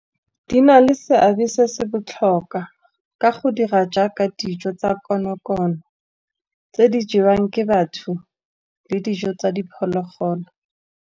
Di na le seabe se se botlhokwa ka go dira jaaka dijo tsa konokono, tse di jewang ke batho le dijo tsa diphologolo.